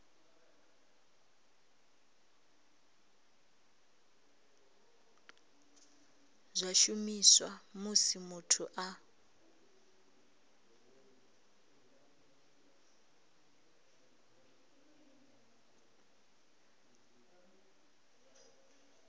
zwa shumiswa musi muthu a